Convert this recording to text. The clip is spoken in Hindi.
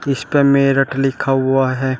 इसपे मेरठ लिखा हुआ है।